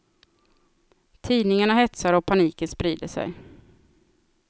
Tidningarna hetsar och paniken sprider sig.